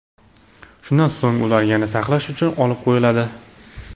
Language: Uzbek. Shundan so‘ng ular yana saqlash uchun olib qo‘yiladi.